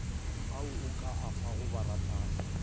ao o ka afago baratani